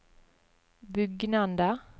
bugnende